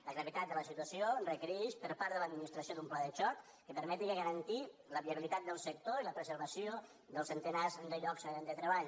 la gravetat de la situació requereix per part de l’administració d’un pla de xoc que permeti garantir la viabilitat del sector i la preservació dels centenars de llocs de treball